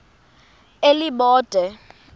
elibode